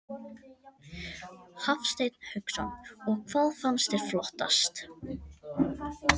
Hafsteinn Hauksson: Og hvað fannst þér flottast?